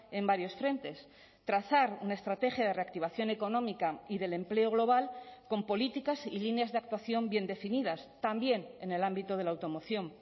en varios frentes trazar una estrategia de reactivación económica y del empleo global con políticas y líneas de actuación bien definidas también en el ámbito de la automoción